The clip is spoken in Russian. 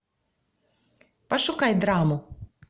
пошукай драму